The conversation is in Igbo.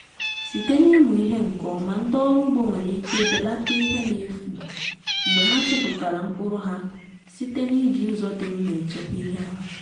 site n’ịmụ ihe nke ọma ndị ọrụ ugbo nwere ike belata ihe na-efu mgbe ha chụpụtara mkpụrụ ha site n’iji ụzọ dị mma echekwa ihe ha